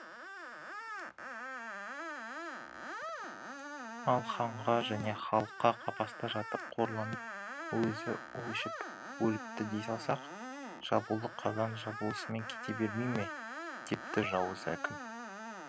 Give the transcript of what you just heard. ал ханға және халыққа қапаста жатып қорланып өзі у ішіп өліпті дей салсақ жабулы қазан жабулысымен кете бермей ме депті жауыз әкім